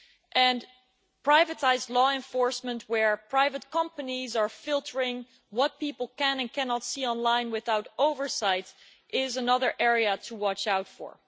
And privatised law enforcement, where private companies are filtering what people can and cannot see online without oversight, is another area to watch out for.